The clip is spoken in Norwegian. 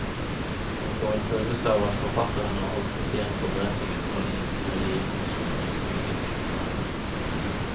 Man får en følelse av at forfatteren har holdt litt igjen på beretningen fra det indre liv i norsk utenrikspolitikk.